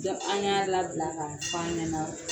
Dɔnku an y'a labila ka f'a ɲana